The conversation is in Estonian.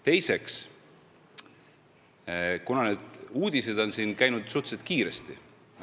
Teiseks, need uudised on laiali läinud suhteliselt kiiresti.